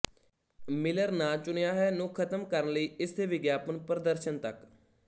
miller ਨਾ ਚੁਣਿਆ ਹੈ ਨੂੰ ਖਤਮ ਕਰਨ ਲਈ ਇਸ ਦੇ ਵਿਗਿਆਪਨ ਪ੍ਰਦਰਸ਼ਨ ਤੱਕ